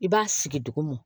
I b'a sigi dugumɔ